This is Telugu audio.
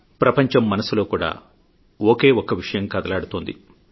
ప్రపంచం మనసులో కూడా ఒకే ఒక్క విషయం కదలాడుతోంది